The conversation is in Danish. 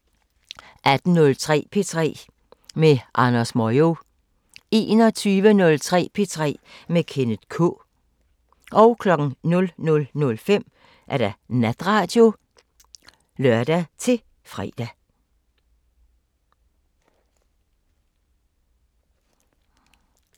18:03: P3 med Andrew Moyo 21:03: P3 med Kenneth K 00:05: Natradio (lør-fre)